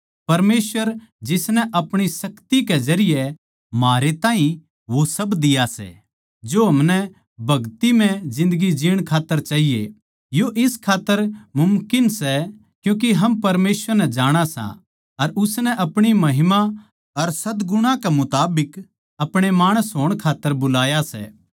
परमेसवर जिसनै अपणी शक्ति के जरिये म्हारे ताहीं वो सब दिया सै जो हमनै भगतिमय जिन्दगी जीण खात्तर चाहिए यो इस खात्तर मुमकिन सै क्यूँके हम परमेसवर नै जाणा सां अर उसनै अपणी महिमा अर सद्गुणा के मुताबिक अपणे माणस होण खात्तर बुलाया सै